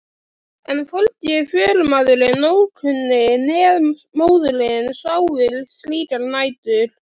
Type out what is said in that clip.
En hvorki förumaðurinn ókunni né móðirin sváfu slíkar nætur.